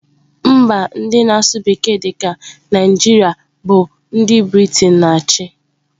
Mba ndị na-asụ bekee dị ka Naijiria bụ ndị Briten na-achị.